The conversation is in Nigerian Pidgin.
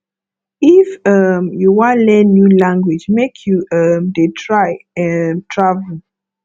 if um you wan learn new language make you um dey try um travel